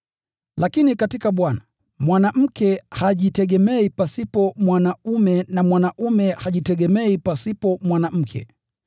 Lakini katika Bwana, mwanamke hajitegemei pasipo mwanaume na mwanaume hajitegemei pasipo mwanamke.